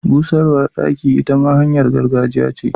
Busarwa daki ita ma hanyar gargajiya ce.